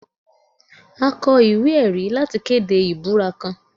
A kọ iwe-ẹri lati kede ibura kan